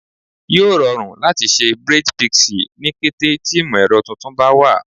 Yoo rọrun lati ṣe awọn braids pixie ni kete ti imọ-ẹrọ tuntun ba wa